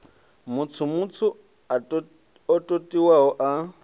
matswu matswu o totiwaho a